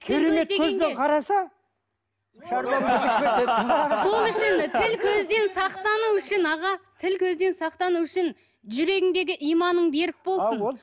сол үшін тіл көзден сақтану үшін аға тіл көзден сақтану үшін жүрегіңдегі иманың берік болсын